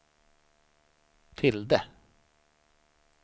tilde